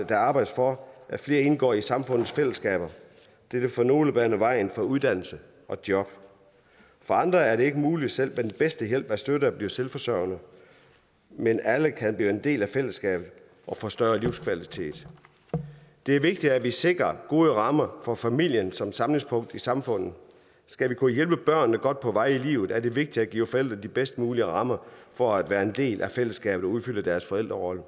der arbejdes for at flere indgår i samfundets fællesskaber det vil for nogle bane vejen for uddannelse og job for andre er det ikke muligt selv med den bedste hjælp og støtte at blive selvforsørgende men alle kan blive en del af fællesskabet og få større livskvalitet det er vigtigt at sikre gode rammer for familien som samlingspunkt i samfundet skal vi kunne hjælpe børnene godt på vej i livet er det vigtigt at give forældre de bedst mulige rammer for at være en del af fællesskabet og udfylde deres forældrerolle